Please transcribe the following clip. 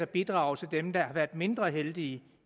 bidrager til dem der har været mindre heldige